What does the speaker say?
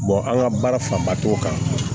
an ka baara fanba t'o kan